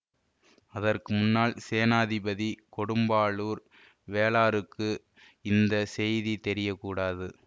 அதற்கு முன்னால் சேநாதிபதி கொடும்பாளூர் வேளாருக்கு இந்த செய்தி தெரிய கூடாது